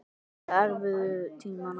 Líka erfiðu tímana.